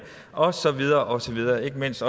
og så videre og så videre og ikke mindst